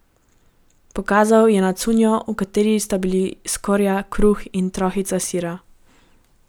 Pokazal je na cunjo, v kateri sta bila skorja kruha in trohica sira.